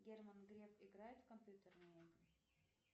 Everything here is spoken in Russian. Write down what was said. герман греф играет в компьютерные игры